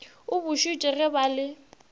o bušitše ge ba le